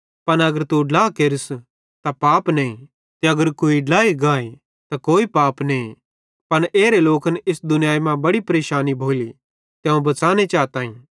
पन अगर तू ड्ला भी केरस त पाप नईं ते अगर कुवारी ड्लाई गाए त कोई पाप नईं पन एरे लोकन इस दुनियाई मां बड़ी परेशैनी भोली ते अवं बच़ाने चाताईं